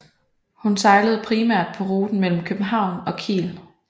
Hun sejlede primært på ruten mellem København og Kiel